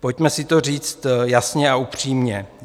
Pojďme si to říct jasně a upřímně.